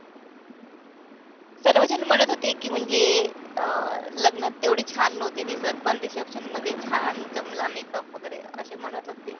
सर्वजण म्हणत होते की म्हणजे अं लग्नात तेवढी छान नव्हती दिसत पण reception मध्ये छान जमला makeup वगैरे असे म्हणत होते.